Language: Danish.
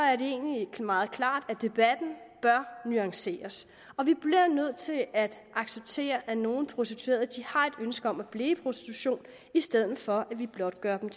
at det egentlig er meget klart at debatten bør nuanceres vi bliver nødt til at acceptere at nogle prostituerede har et ønske om at blive i prostitution i stedet for at vi blot gør dem